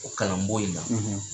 O kalan bon in na,